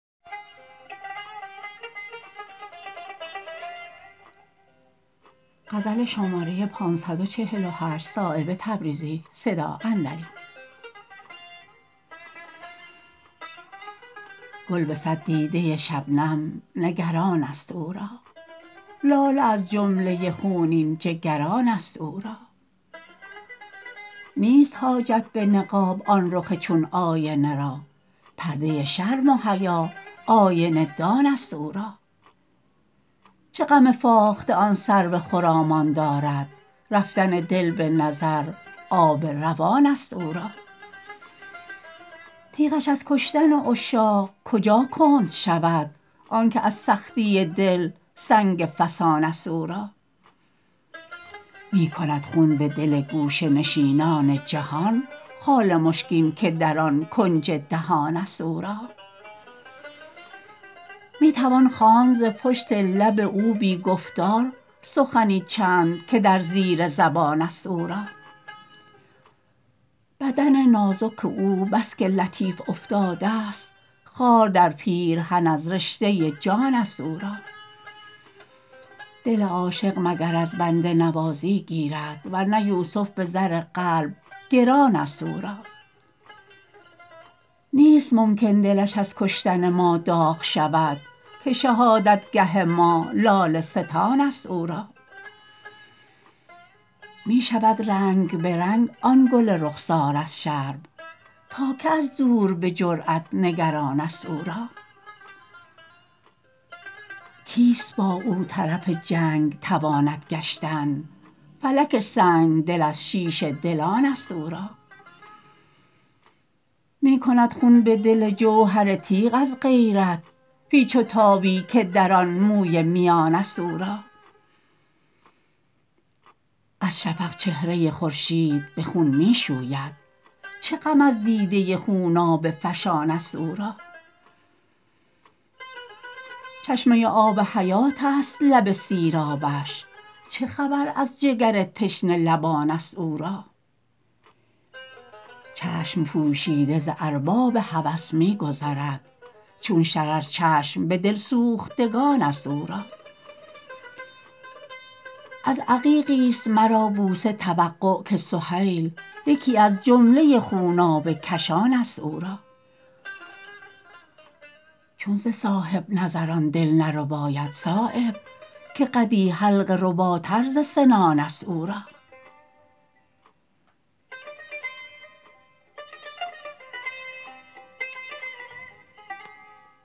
گل به صد دیده شبنم نگران است او را لاله از جمله خونین جگران است او را نیست حاجت به نقاب آن رخ چون آینه را پرده شرم و حیا آینه دان است او را چه غم فاخته آن سرو خرامان دارد رفتن دل به نظر آب روان است او را تیغش از کشتن عشاق کجا کند شود آن که از سختی دل سنگ فسان است او را می کند خون به دل گوشه نشینان جهان خال مشکین که در آن کنج دهان است او را می توان خواند ز پشت لب او بی گفتار سخنی چند که در زیر زبان است او را بدن نازک او بس که لطیف افتاده است خار در پیرهن از رشته جان است او را دل عاشق مگر از بنده نوازی گیرد ورنه یوسف به زر قلب گران است او را نیست ممکن دلش از کشتن ما داغ شود که شهادتگه ما لاله ستان است او را می شود رنگ به رنگ آن گل رخسار از شرم تا که از دور به جرأت نگران است او را کیست با او طرف جنگ تواند گشتن فلک سنگدل از شیشه دلان است او را می کند خون به دل جوهر تیغ از غیرت پیچ و تابی که در آن موی میان است او را از شفق چهره خورشید به خون می شوید چه غم از دیده خونابه فشان است او را چشمه آب حیات است لب سیرابش چه خبر از جگر تشنه لبان است او را چشم پوشیده ز ارباب هوس می گذرد چون شرر چشم به دلسوختگان است او را از عقیقی است مرا بوسه توقع که سهیل یکی از جمله خونابه کشان است او را چون ز صاحب نظران دل نرباید صایب که قدی حلقه رباتر ز سنان است او را